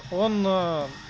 он э